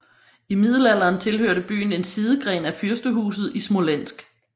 I middelalderen tilhørte byen en sidegren af fyrstehuset i Smolensk